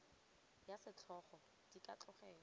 ya setlhogo di ka tlogelwa